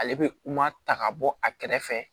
Ale bɛ ta ka bɔ a kɛrɛfɛ